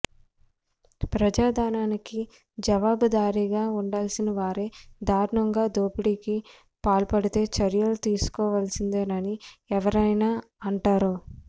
ప్రజాధనానికి జవాబుదారీగా ఉండాల్సిన వారే దారుణంగా దోపిడీకి పాల్పడితే చర్యలు తీసుకోవాల్సిందేనని ఎవరైనా అంటారు